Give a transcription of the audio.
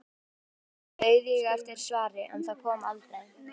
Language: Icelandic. Langa stund beið ég eftir svari, en það kom aldrei.